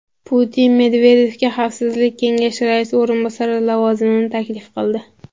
Putin Medvedevga Xavfsizlik kengashi raisi o‘rinbosari lavozimini taklif qildi .